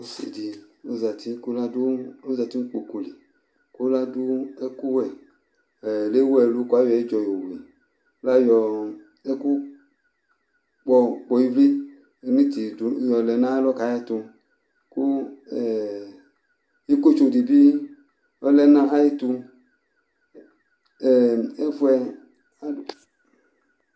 Ɔsidi ɔzati nu ikpoku li ku ladu ɛku wɛ Lewu ɛlu ku ayɔ ɛdzɔ Youri Ɛkukpɔ ivli niiti yɔlɛ nayalɔ kayɛtu Ku ikotso dibi lɛ nu ayɛtu